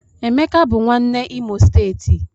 Emeka bụ nwanne Imo steeti